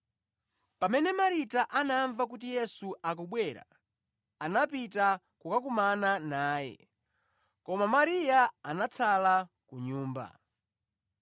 Pamene Marita anamva kuti Yesu akubwera, anapita kukakumana naye. Koma Mariya anatsala ku nyumba.